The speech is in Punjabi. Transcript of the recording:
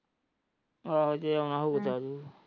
ਆਹੋ ਜੇ ਆਉਣਾਂ ਹੋਊ ਤਾਂ ਅੱਜੋ।